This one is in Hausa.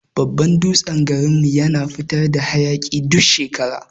Babban dutsen garin mu yana fitar da hayaki duk shekara.